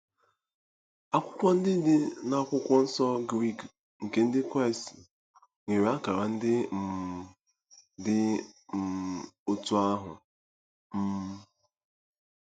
Akwụkwọ ndị dị n'Akwụkwọ Nsọ Grik nke Ndị Kraịst nwere akara ndị um dị um otú ahụ. um